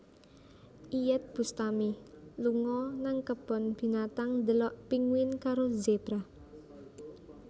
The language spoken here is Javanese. Iyeth Bustami lunga nang kebon binatang ndelok pinguin karo zebra